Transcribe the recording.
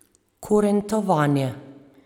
Kurentovanje.